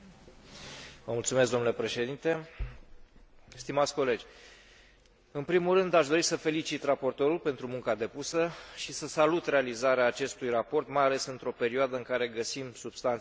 În primul rând, aș dori să l felicit pe raportor pentru munca depusă și să salut realizarea acestui raport, mai ales într o perioadă în care găsim substanțe chimice peste tot în jurul nostru, în majoritatea bunurilor pe care le achiziționăm.